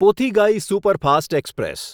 Pothigai superfast express